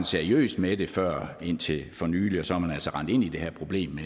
seriøst med det før indtil for nylig og så er man altså rendt ind i det her problem